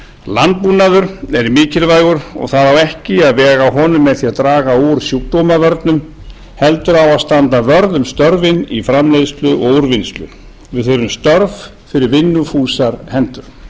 landbúnaður er mikilvægur og það á ekki að vega að honum með því að draga úr sjúkdómavörnum heldur á að standa vörð um störfin í framleiðslu og úrvinnslu við þurfum störf fyrir vinnufúsar hendur